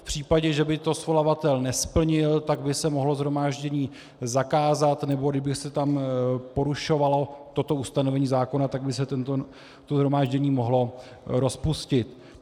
V případě, že by to svolavatel nesplnil, tak by se mohlo shromáždění zakázat, nebo kdyby se tam porušovalo toto ustanovení zákona, tak by se toto shromáždění mohlo rozpustit.